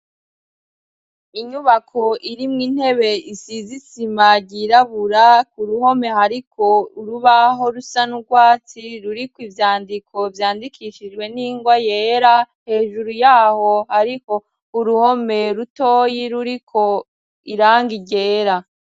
Inyubako irimwo intebe, isize isima ryirabura, ku ruhome hariko urubaho rusa n'urwatsi ruriko ivyandiko vyandikishijwe n'ingwa yera; hejuru yaho ariko uruhome rutoyi ruriko irangi ryera.